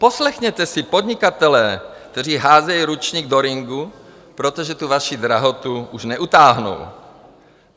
Poslechněte si podnikatele, kteří házejí ručník do ringu, protože tu vaši drahotu už neutáhnou.